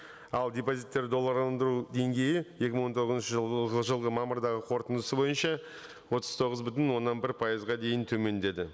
ал депозиттер долларға алындыру деңгейі екі мың он тоғызыншы жылғы мамырдағы қорытындысы бойынша отыз тоғыз бүтін оннан бір пайызға дейін төмендеді